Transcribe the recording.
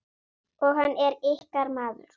Og hann er ykkar maður.